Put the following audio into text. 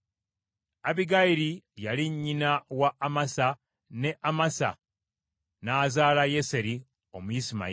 Abbigayiri yali nnyina wa Amasa, ne Amasa n’azaala Yeseri Omuyisimayiri.